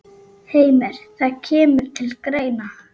Heimir: Það kemur til greina?